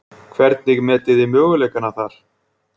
Hvernig metið þið möguleikana þar?